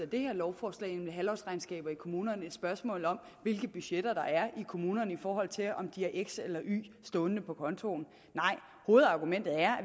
det her lovforslag nemlig indførelse af halvårsregnskaber i kommunerne ikke et spørgsmål om hvilke budgetter der er i kommunerne i forhold til om de har x eller y stående på kontoen nej hovedargumentet er